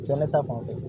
Sɛnɛ ta fanfɛ